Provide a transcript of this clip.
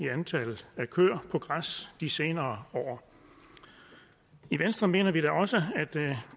i antallet af køer på græs de senere år i venstre mener vi da også at